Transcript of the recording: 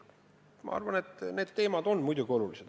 Ma arvan, et need teemad on muidugi olulised.